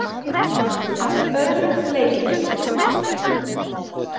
Að öðrum leikjum.